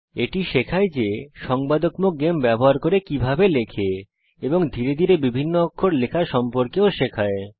এটি শেখায় যে সংবাদকত্মক গেম ব্যবহার করে কিভাবে লেখে এবং ধীরে ধীরে বিভিন্ন অক্ষর লেখা সম্পর্কেও শেখায়